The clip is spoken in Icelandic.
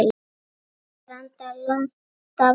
Kallast branda lonta smá.